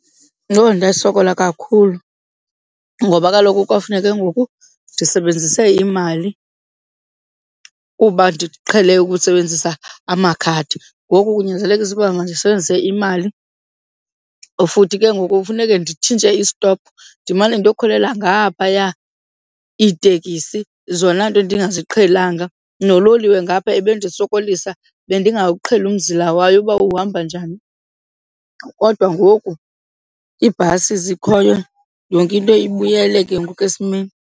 Yho, ndasokola kakhulu ngoba kaloku kwafuneka ngoku ndisebenzise imali kuba ndiqhele ukusebenzisa amakhadi ngoku kunyanzelekisa uba mandisebenzise imali. Futhi ke ngoku funeke nditshintshe istophu ndimane ndiyokhwelela ngaphaya iitekisi zona nto ndingaziqhelanga. Nololiwe ngapha ebendisokolisa bendingawuqhelanga umzila wayo uba uhamba njani kodwa ngoku iibhasi zikhoyo yonke into ibuyele ke ngoku esimeni.